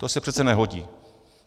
To se přece nehodí.